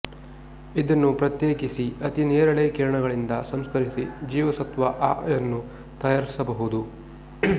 ಇದನ್ನು ಪ್ರತ್ಯೇಕಿಸಿ ಅತಿ ನೇರಳೆ ಕಿರಣಗಳಿಂದ ಸಂಸ್ಕರಿಸಿ ಜೀವಸತ್ವ ಆ ಯನ್ನು ತಯಾರಿಸಬಹುದು